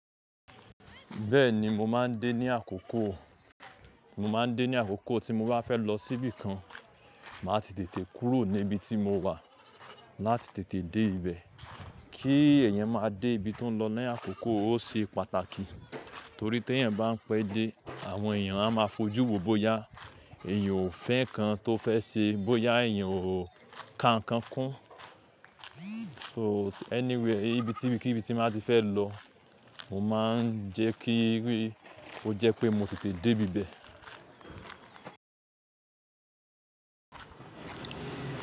Bẹ́ẹ̀ni, mo máa ń dé ní àkókò, mo máa ń dé ní àkókò tí mo bá fẹ́ lọ síbí kan, màá ti tètè kúrò níbi tí mo wà láti tètè dé ibẹ̀. Kí èèyàn máa dé ibi tó ń lọ ni àkókò ó ṣe pàtàkì torí tí èèyàn bá ń pẹ́ dé, àwọn èèyàn a máa fojú wò bóyá èèyàn ò fẹ́ nǹkan tó fẹ́ ṣe, bóyá èèyàn ò ka nǹkan kún. So anyway ibi tí íbikíbi tí màá ti fẹ́ lọ, mo máa ń jẹ́ kí i rí, ó jẹ́ pé mo tètè dé ibibẹ̀